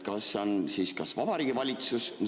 " Kas on siis Vabariigi Valitsus ...?